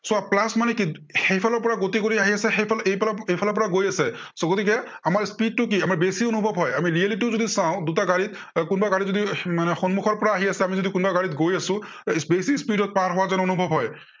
চোৱা plus মানে কি সেইফালৰ পৰা গতি কৰি আহি আছে, সেইফালে এইফালৰ পৰা গৈ আছে so গতিকে আমাৰ speed টো কি, আমি বেছি অনুভৱ হয়। আমি reality ও যদি চাও দুটা গাড়ীৰ কোনোবা গাড়ীৰ যদি মানে সন্মুখৰ পৰা আহি আছে, আমি যদি কোনোবা গাড়ীত গৈ আছো, বেছি speed ত পাৰ হোৱা যেন অনুভৱ হয়।